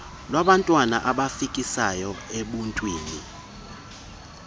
lwabantwana abafikisayo ebuntwini